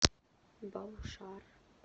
баушар